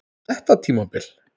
Þetta tímabil?